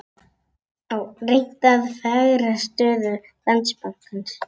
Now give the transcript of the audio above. Reynt að fegra stöðu Landsbankans